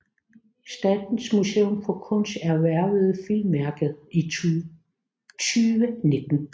Statens Museum for Kunst erhvervede filmværket i 2019